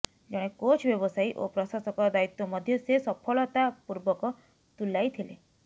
ଜଣେ କୋଚ ବ୍ୟବସାୟୀ ଓ ପ୍ରଶାସକ ଦାୟିତ୍ୱ ମଧ୍ୟ ସେ ସଫଳତାପୂର୍ବଳ ତୁଲାଇଥିଲେ